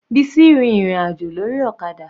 Bisi rin ìrìn àjò lórí ọ̀kadà.